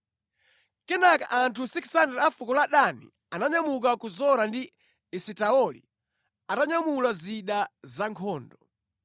Kenaka anthu 600 a fuko la Dani ananyamuka ku Zora ndi Esitaoli atanyamula zida za nkhondo.